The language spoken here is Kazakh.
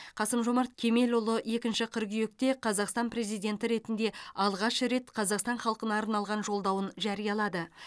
қасым жомарт кемелұлы екінші қыркүйекте қазақстан президенті ретінде алғаш рет қазақстан халқына арналған жолдауын жариялады